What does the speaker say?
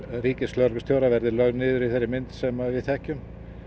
ríkislögreglustjóra verði lögð niður í þeirri mynd sem við þekkjum